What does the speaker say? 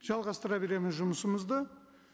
жалғастыра береміз жұмысымызды